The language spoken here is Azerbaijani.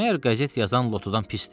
Məyər qəzet yazan lotudan pisdir?